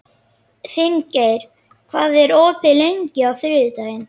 Finngeir, hvað er opið lengi á þriðjudaginn?